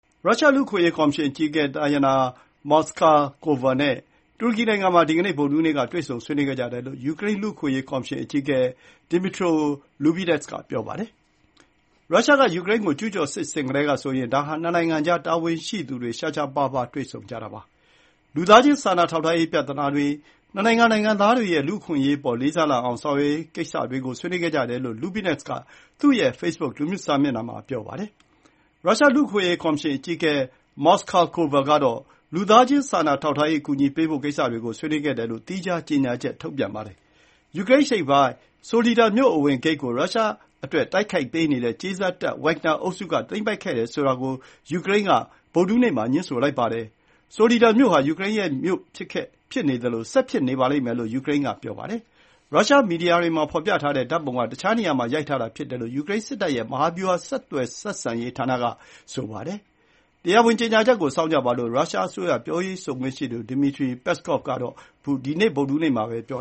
ရုရှား လူ့အခွင့်အရေး ကော်မရှင်အကြီးအကဲ တာယာနာ မော်စကာကိုဗာ (Tatyana Moskalkova) နဲ့ တူရကီနိုင်ငံမှာ ဒီကနေ့ ဗုဒ္ဓဟူးနေ့ တွေ့ဆုံဆွေးနွေးခဲ့ကြတယ်လို့ ယူကရိန်း လူ့အခွင့်အရေးကော်မရှင် အကြီးအကဲ ဒီမီထရိုလူဘီနက်စ် (Dmytro Lubinets) က ပြောပါတယ်။ ရုရှားက ယူကရိန်းကို ကျူးကျော်စစ် ဆင်ခဲ့ကတည်းကဆိုရင် ဒါဟာ နှစ်နိုင်ငံကြား တာဝန်ရှိသူတွေ ရှားရှားပါးပါး တွေ့ဆုံကြတာပါ။ လူသားချင်းစာနာထောက်ထားရေး ပြဿနာတွေ၊ နှစ်နိုင်ငံ နိုင်ငံသားတွေရဲ့ လူ့အခွင့်အရေးအပေါ် လေးစားလာအောင် ဆောင်ရွက်ရေးကိစ္စတွေကို ဆွေးနွေးခဲ့ကြတယ်လို့ လူဘီနက်စ်က သူရဲ့ ဖေ့ဘွတ်ခ်လူမှုကွန်ရက်စာမျက်နှာမှာ ပြောပါတယ်။ ရုရှားလူ့အခွင့်အရေး ကော်မရှင်အကြီးအကဲ မော်စကာကိုဗာကတော့ လူသားချင်းစာနာထောက်ထားရေး အကူအညီပေးဖို့ ကိစ္စတွေကို ဆွေးနွေးခဲ့တယ်လို့ သီးခြားကြေညာချက်ထုတ်ပြန်ပါတယ်။ ယူကရိန်းအရှေ့ပိုင်း ဆိုလီဒါ (Soledar) မြို့ အဝင်ဂိတ်ကို ရုရှားအတွက်တိုက်ပေးနေတဲ့ ကြေးစားတပ် ဝက်ဂ်နာ (Wagner) အုပ်စုက သိမ်းပိုက်ခဲ့တယ်ဆိုတာ ကို ယူကရိန်းက ဗုဒ္ဓဟူးနေ့ မှာ ငြင်းဆိုလိုက်ပါတယ်။ ဆိုလီဒါမြို့ ဟာ ယူကရိန်းရဲ့ မြို့ ဖြစ်ခဲ့၊ ဖြစ်နေသလို၊ ဆက်ဖြစ်နေပါလိမ့်မယ်လို့ ယူကရိန်းက ဆိုပါတယ်။ ရုရှား မီဒီယာတွေမှာ ဖော်ပြထားတဲ့ ဓာတ်ပုံက တခြားတစ်နေရာမှာ ရိုက်ထားတာ ဖြစ်တယ်လို့ ယူကရိန်း စစ်တပ်ရဲ့ မဟာဗျူဟာဆက်သွယ်ဆက်ဆံရေးဌာနက ပြောပါတယ်။ တရားဝင်ကြေညာချက်ကို စောင့်ကြပါလို့ ရုရှားအစိုးရ ပြောရေးဆိုခွင့်ရှိသူ ဒီမစ်ထရီ ပက်စကော့်ဗ် (Dmitry Peskov) က ဒီနေ့ ဗုဒ္ဓဟူးနေ့ မှာပဲ ပြော